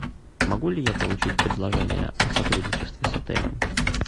могу ли я получить предложение о сотрудничестве с отелем